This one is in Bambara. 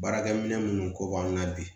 Baarakɛ minɛ minnu ko b'an na bi